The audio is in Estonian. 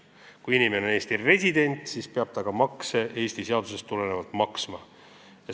Kui inimene on Eesti resident, siis peab ta ka Eesti seadustest tulenevalt makse maksma.